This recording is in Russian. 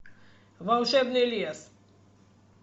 волшебный лес